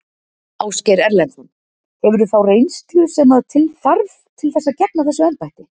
Ásgeir Erlendsson: Hefurðu þá reynslu sem að til þarf til þess að gegna þessu embætti?